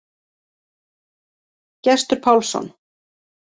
Gestur Pálsson.